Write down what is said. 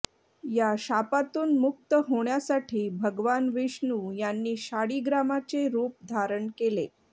या शापातून मुक्त होण्यासाठी भगवान विष्णू यांनी शाळीग्रामाचे रूप धारण केलं